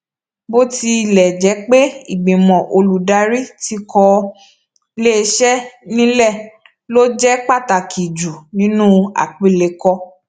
bó tilè jé pé ìgbìmò olùdarí tí kò lésè nílè ló jẹ pàtàkì jù nínú àpilèkọ